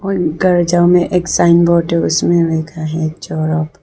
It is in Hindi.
में एक साइन बोर्ड है उसमें लिखा है।